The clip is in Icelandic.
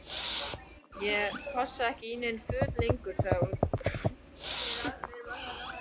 Ég passa ekki í nein föt lengur sagði hún.